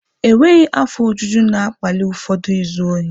Enweghị afọ ojuju na-akpali ụfọdụ izu ohi.